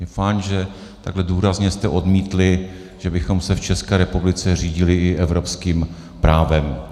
Je fajn, že takhle důrazně jste odmítli, že bychom se v České republice řídili i evropským právem.